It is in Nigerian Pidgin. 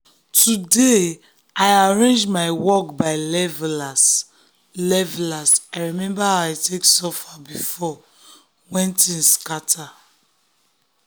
today i arrange my work by levelas levelas i remember how i take suffer before when things scatter.